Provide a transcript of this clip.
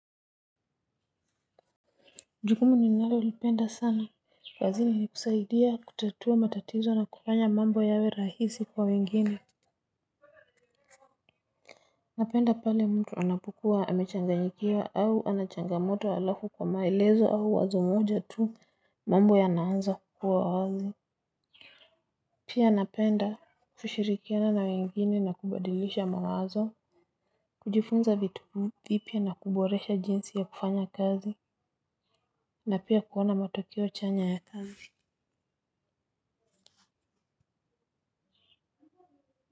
Jukumu ninalolipenda sana kazini ni kusaidia kutatua matatizo na kufanya mambo yawe rahisi kwa wengine. Napenda pale mtu anapokuwa amechanganyikiwa au ana changamoto halafu kwa maelezo au wazo moja tu mambo yanaanza kukuwa wazi. Pia napenda kushirikiana na wengine na kubadilisha mawazo. Kujifunza vitu vipya na kuboresha jinsi ya kufanya kazi na pia kuona matokeo chanya ya kazi.